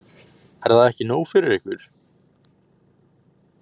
Er það ekki nóg fyrir ykkur?